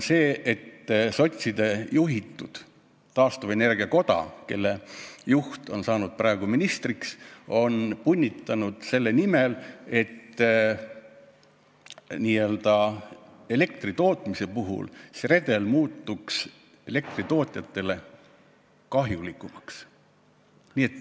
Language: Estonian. Sotside juhitud taastuvenergia koda, kelle juht on saanud ministriks, on punnitanud selle nimel, et elektritootmise puhul see redel muutuks elektritootjatele kahjulikumaks.